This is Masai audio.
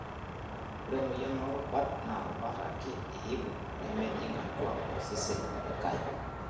Ore emoyian oo rubat naa rubat ake eibung' nemejing' atua osesen likae.